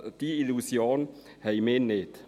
Diese Illusion haben wir nicht.